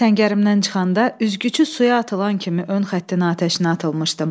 Səngərimdən çıxanda üzgüçü suya atılan kimi ön xətdən atəşə atılmışdım.